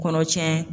Kɔnɔ cɛn